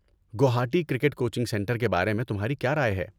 Guwahati cricket coaching centre کے بارے میں تمہاری کیا رائے ہے؟